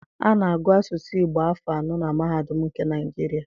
A na-agụ Asụsụ Igbo afọ anọ na mahadụm nke Naịjirịa.